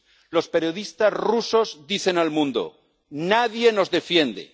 Los periodistas rusos dicen al mundo nadie nos defiende.